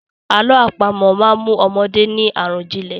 Àlọ́ àpamọ̀ máa mú ọmọdé ní àròjìnlẹ̀.